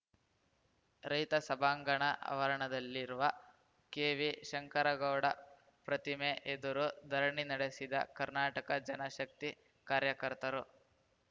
ರೈತ ಸಭಾಂಗಣ ಆವರಣದಲ್ಲಿರುವ ಕೆವಿಶಂಕರಗೌಡ ಪ್ರತಿಮೆ ಎದುರು ಧರಣಿ ನಡೆಸಿದ ಕರ್ನಾಟಕ ಜನ ಶಕ್ತಿ ಕಾರ್ಯಕರ್ತರು